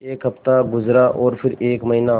एक हफ़्ता गुज़रा और फिर एक महीना